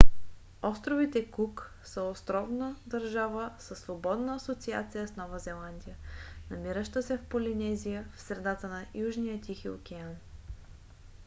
островите кук са островна държава със свободна асоциация с нова зеландия намираща се в полинезия в средата на южния тихи океан